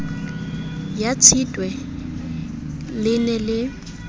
ya tshitwe le ne le